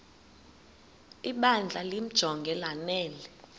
ibandla limjonge lanele